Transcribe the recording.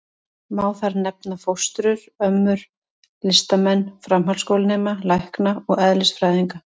Má þar nefna: fóstrur, ömmur, listamenn, framhaldsskólanema, lækna og eðlisfræðinga.